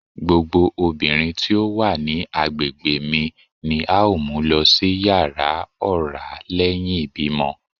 Gbogbo obinrin ti o wa ni agbegbe mi ni ao mu lọ si yara ọra lẹhin ibimọ